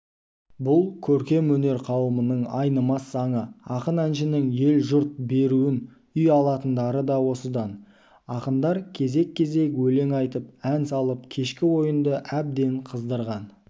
бұл көркем өнер қауымымын айнымас заңы ақын-әншінің ел жұрт беруін үй алатындары да осыдан ақындар кезек-кезек өлең айтып ән салып кешкі ойынды әбден қыздырған